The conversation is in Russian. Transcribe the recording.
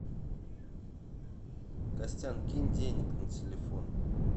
костян кинь денег на телефон